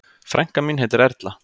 Frænka mín heitir Erla.